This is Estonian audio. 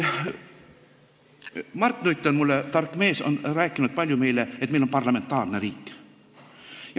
Mart Nutt, tark mees, on rääkinud meile palju kordi, et meil on parlamentaarne riik.